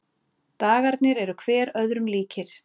Dagarnir eru hver öðrum líkir.